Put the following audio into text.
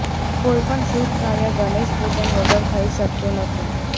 કોઈ પણ શુભ કાર્ય ગણેશ પૂજન વગર થઈ શકતુ નથી